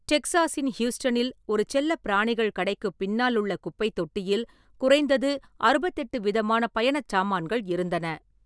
டெக்சாஸின் ஹியூஸ்டனில் ஒரு செல்லப்பிராணிகள் கடைக்குப் பின்னாலுள்ள குப்பைத் தொட்டியில் குறைந்தது அறுபதெட்டு விதமான பயணச் சாமான்கள் இருந்தன.